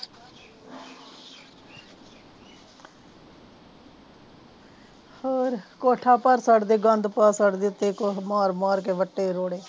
ਹੋਰ ਕੋਠਾ ਭਰ ਛੱਡਦੇ ਗੰਦ ਪਰ ਪਰਦੇ ਤੇ ਦੇਖ ਮਾਰ ਮਾਰ ਕੇ ਵਟੇ ਰੋਡੇ